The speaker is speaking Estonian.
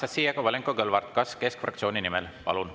Anastassia Kovalenko-Kõlvart, kas keskfraktsiooni nimel?